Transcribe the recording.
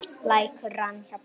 Lækur rann hjá bænum.